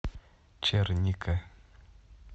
черника